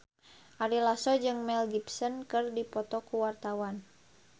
Ari Lasso jeung Mel Gibson keur dipoto ku wartawan